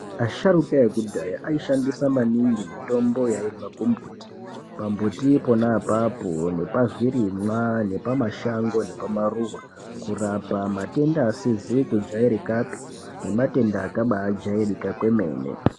Asharuka ekudhaya aishandisa maningi mitombo yaibva kumbuti pambuti ponapapo nepazvirimwa nepamashango kurapa matenda asizi kujairikapi nematenda akambajairika kwemene .